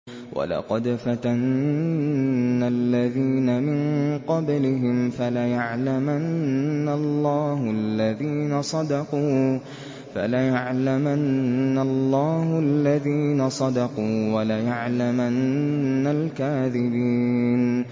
وَلَقَدْ فَتَنَّا الَّذِينَ مِن قَبْلِهِمْ ۖ فَلَيَعْلَمَنَّ اللَّهُ الَّذِينَ صَدَقُوا وَلَيَعْلَمَنَّ الْكَاذِبِينَ